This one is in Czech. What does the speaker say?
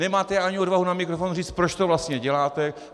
Nemáte ani odvahu na mikrofon říct, proč to vlastně děláte.